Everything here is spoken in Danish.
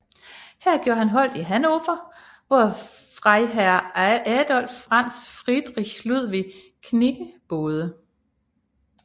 Her gjorde han holdt i Hannover hvor Freiherr Adolph Franz Friedrich Ludwig Knigge boede